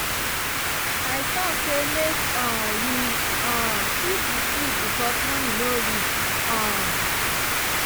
i talk say make um we um shift the trip because money no reach. um